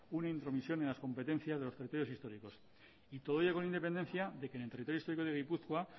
una intromisión en las competencias de los territorios históricos y todo ello con independencia que en el territorio histórico de gipuzkoa